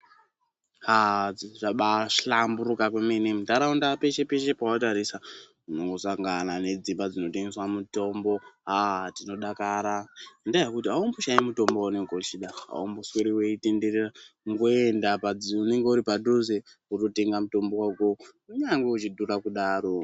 Aaah, zvabaahlamburuka kwemene, muntharaunda peshe-peshe pawatarisa, unongosangana nedzimba dzinotengeswa mitombo, aah, tinodakara ngendaa yekuti, aumboshai mutombo waunenge uchida, aumbosweri weitenderera, kungoenda paunenge uri padhuze, wototenga mutombo wako kunyange uchidhura kudaro.